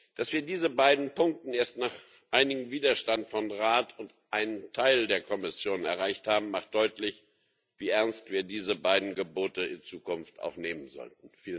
Dass wir diese beiden Punkte erst nach einigem Widerstand vom Rat und von einem Teil der Kommission erreicht haben, macht deutlich, wie ernst wir diese beiden Gebote in Zukunft auch nehmen sollten.